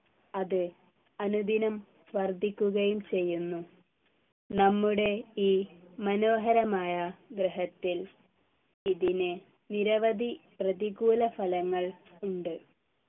അത് അനുദിനം വർധിക്കുകയും ചെയ്യുന്നു നമ്മുടെ ഈ മനോഹരമായ ഗ്രഹത്തിൽ ഇതിനു നിരവധി പ്രതികൂല ഫലങ്ങൾ ഉണ്ട്